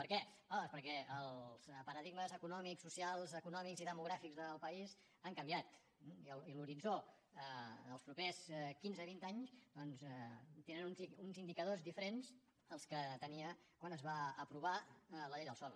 per què home doncs perquè els paradigmes econòmics socials econòmics i demogràfics del país han canviat i l’horitzó en els propers quinze vints anys té uns indicadors diferents dels que tenia quan es va aprovar la llei del sòl